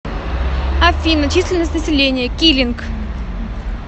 афина численность населения килинг